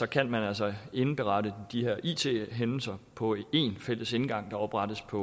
kan man altså indberette de her it hændelser på en fælles indgang der oprettes på